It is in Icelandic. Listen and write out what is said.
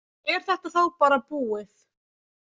Er þetta þá bara búið?